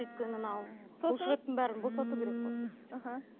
өйткені мынау бұлшық еттің бәрін босату керек қой